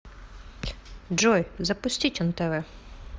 джой запустить нтв